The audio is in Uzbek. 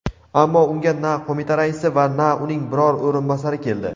Ammo unga na qo‘mita raisi va na uning biror o‘rinbosari keldi.